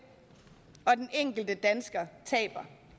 og den enkelte dansker taber